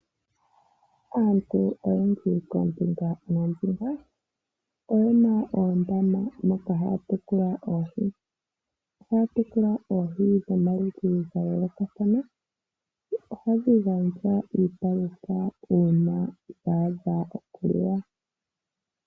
Aantu oyendji koombinga noombinga oyena oondama moka haya tekula oohi, ohaya tekula oohi dhomaludhi gayoolokathana nohadhi gandja iipalutha uuna dhaadha okuliwa.